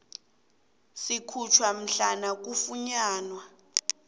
sikhutjhwa mhlana kufunyanwa